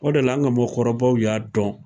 O de la ,an ka mɔgɔkɔrɔbaw y'a dɔn.